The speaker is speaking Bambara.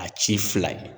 A ci fila ye